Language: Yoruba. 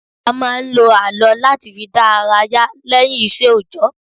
A máa ń lo àlọ́ láti fi dá ara yá lẹ́yìn ìṣe òjọ́